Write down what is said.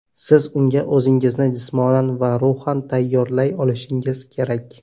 Siz unga o‘zingizni jismonan va ruhan tayyorlay olishingiz kerak.